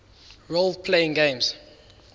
role playing games